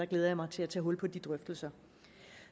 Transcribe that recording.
glæder mig til at tage hul på de drøftelser